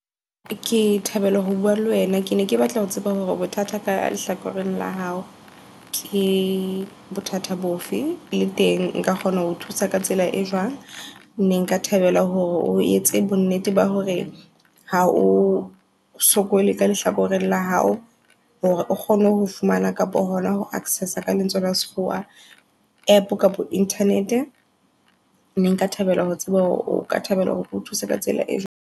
Ke thabela ho bua le wena ke ne ke batla ho tseba hore bothata ka lehlakoreng la hao ke bothata bofe. Le teng nka kgona ho thusa ka tsela e jwang, ne nka thabela hore o etse bo nnete ba hore ha o sokole ka lehlakoreng la hao. Hore o kgone ho fumana kapo hona ho access-a ka lentswe la sekgowa app kapo internet. Ne nka thabela ho tseba hore o ka thabela hore o thuse ka tsela e jwang.